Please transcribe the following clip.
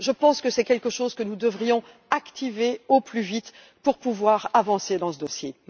Je pense que c'est quelque chose que nous devrions activer au plus vite pour pouvoir avancer dans ce dossier.